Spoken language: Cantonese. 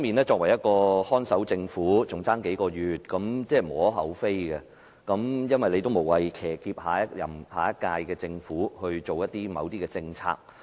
作為一個看守政府，只餘下數個月時間，這是無可厚非的，無謂騎劫下一屆政府推行某些政策。